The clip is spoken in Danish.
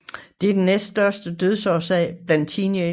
Det er den næststørste dødsårsag blandt teenagere